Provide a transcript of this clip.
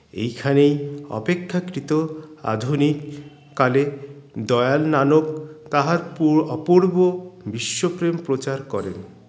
এইখানেই অপেক্ষাকৃত আধুনিক কালে দয়াল নানক তাহার পূর অপূর্ব বিশ্বপ্রেম প্রচার করেন